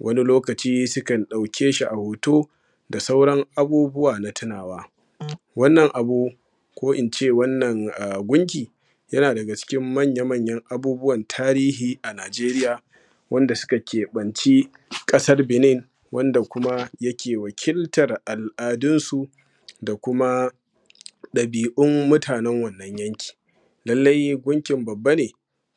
wani lokaci sukan ɗauke shi a hoto da sauran abubuwa na tunawa, wannan abu ko ince wannan gunki yana daga cikin manya-manyan abubuwan tarihi a Nigeriya wanda suka keɓanci kasar Binin wanda kuma yake wakiltan al’adunsu da kuma dabi’un mutanan wannan yanki, lallai gunkin babba ne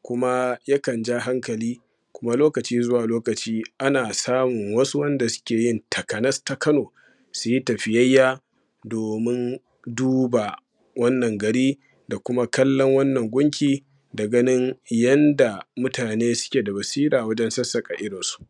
kuma yakan ja hankali kuma lokaci zuwa lokaci ana samun wasu wanda suke yin takanas ta kano suyi tafiyayya domin duba wannan gari da kuma kallon wannan gunki da ganin yadda mutane suke da basira wajen sassaka irin su.